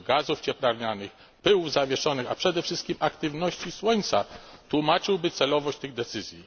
wpływ gazów cieplarnianych, pyłów zawieszonych, a przede wszystkim aktywności słońca, tłumaczyłby celowość tych decyzji.